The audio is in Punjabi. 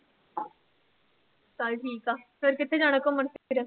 ਚੱਲ ਠੀਕ ਆ, ਫਿਰ ਕਿੱਥੇ ਜਾਣਾ ਘੁੰਮਣ ਫਿਰ।